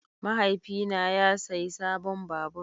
Mahaifina ya sayi sabon babur.